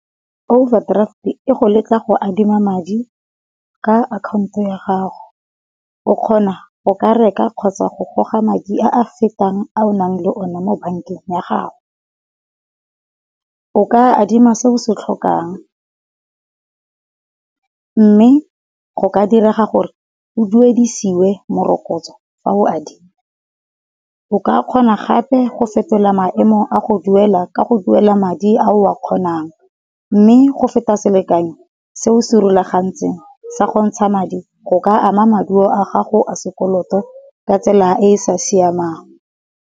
Overdraft e go letla go adima madi ka akhanto ya gago, o kgona go ka reka kgotsa go goga madi a a fetang a o nang le one mo bankeng ya gago. O ka adima se o se tlhokang, mme go ka direga gore o duedisiwe morokotso fa o adima. O ka kgona gape go fetola maemo a go duela ka go duela madi a o a kgonang. Mme go feta selekanyo se o se rulagantseng sa go ntsha madi go ka ama maduo a gago a sekoloto ka tsela e e sa siamang.